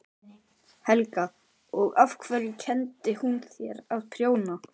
Helga: Og af hverju kenndi hún þér að prjóna?